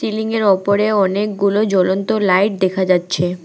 সিলিংয়ের ওপরে অনেকগুলো জ্বলন্ত লাইট দেখা যাচ্ছে।